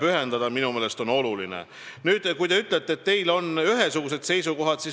Te ütlesite, et teie erakonnas on ühesugused seisukohad.